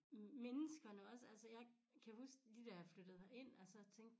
Menneskerne også altså jeg kan huske lige da jeg flyttede herind og så tænkte